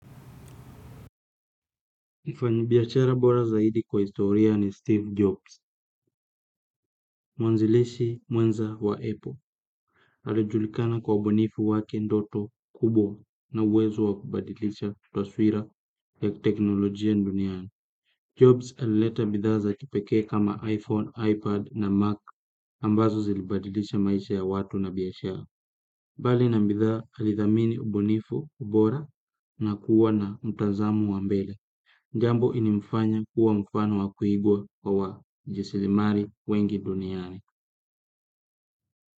Mfanyibiashara bora zaidi kwa historia ni Steve Jobs, mwanzilishi mwenza wa Apple. Alijulikana kwa ubunifu wake ndoto kubwa na uwezo wa kubadilisha taswira ya teknolojia duniani. Jobs alileta bidhaa za kipekee kama iPhone, iPad na Mac ambazo zilibadilisha maisha ya watu na biashara. Bali na bidhaa alithamini ubunifu, ubora na kuwa na mtazamo wa mbele. Jambo ilimfanya kuwa mfano wa kuigwa wa wajisilimali wengi duniani.